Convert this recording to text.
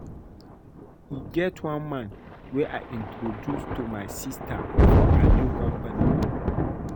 E get one man wey I introduce to my sister for her new company